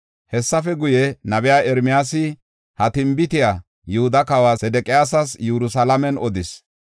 Hessafe guye, nabey Ermiyaasi ha tinbitiya Yihuda kawa Sedeqiyaasas Yerusalaamen odis.